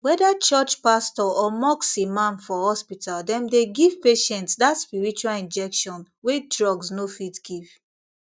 whether church pastor or mosque imam for hospital dem dey give patients that spiritual injection wey drugs no fit give